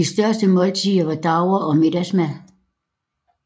De største måltider var davre og middagsmad